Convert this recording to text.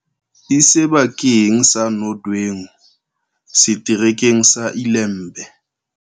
E seba keng sa Nodwengu, Setere keng sa Ilembe.